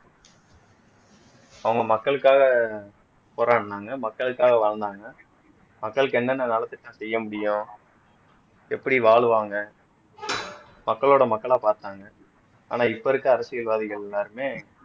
அவங்க மக்களுக்காக போராடுனாங்க மக்களுக்காக வாழ்ந்தாங்க மக்களுக்கு என்னென்ன நலத்திட்டம் செய்ய முடியும் எப்படி வாழுவாங்க மக்களோட மக்களா பார்த்தாங்க ஆனா இப்ப இருக்க அரசியல்வாதிகள் எல்லாருமே